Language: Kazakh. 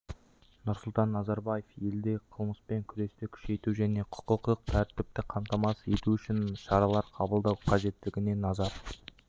нұрсұлтан назарбаев елдегі қылмыспен күресті күшейту және құқықтық тәртіпті қамтамасыз ету үшін шаралар қабылдау қажеттігіне назар